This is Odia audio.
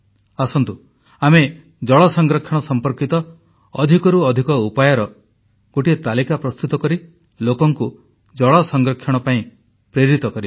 ଆସନ୍ତୁ ଆମେ ଜଳ ସଂରକ୍ଷଣ ସମ୍ପର୍କିତ ଅଧିକରୁ ଅଧିକ ଉପାୟର ଗୋଟିଏ ତାଲିକା ପ୍ରସ୍ତୁତ କରି ଲୋକଙ୍କୁ ଜଳ ସଂରକ୍ଷଣ କରିବା ପାଇଁ ପ୍ରେରିତ କରିବା